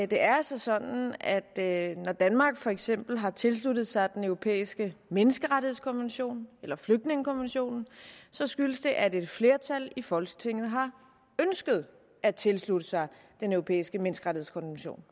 det er altså sådan at når danmark for eksempel har tilsluttet sig den europæiske menneskerettighedskonvention eller flygtningekonventionen så skyldes det at et flertal i folketinget har ønsket at tilslutte sig den europæiske menneskerettighedskonvention